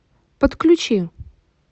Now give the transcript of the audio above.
подключи